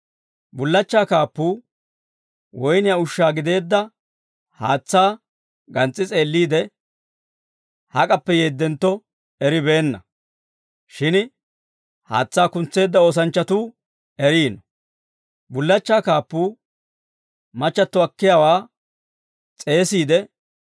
Bullachchaa kaappuu woyniyaa ushshaa gideedda haatsaa gans's'i s'eelliide, hak'appe yeeddentto eribeenna; shin haatsaa kuntseedda oosanchchatuu eriino. Bullachchaa kaappuu machchatto akkiyaawaa s'eesiide,